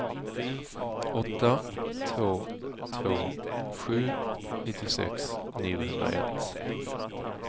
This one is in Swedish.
åtta två två sju nittiosex niohundraett